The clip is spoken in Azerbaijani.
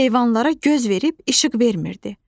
Heyvanlara göz verib işıq vermirdi.